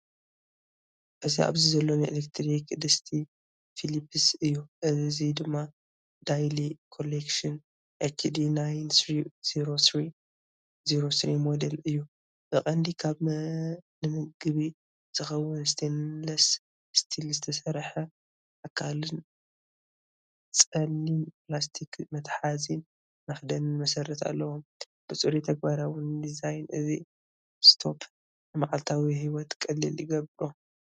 እዚ ኣብዚ ዘሎ ናይ ኤሌክትሪክ ድስቲ ፊሊፕስ እዩ። እሱ ድማ ዳይሊ ኮሌክሽን HD9303/03 ሞዴል እዩ። ብቐንዱ ካብ ንምግቢ ዝኸውን ስቴንለስ ስቲል ዝተሰርሐ ኣካልን ጸሊም ፕላስቲክ መትሓዚን መኽደኒን መሰረትን ኣለዎ። ብጽሩይን ተግባራውን ዲዛይን፡ እዚ ስቶፕ ንመዓልታዊ ህይወት ቀሊል ይገብሮ።